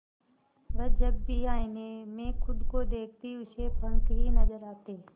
वह जब भी आईने में खुद को देखती उसे पंख ही नजर आते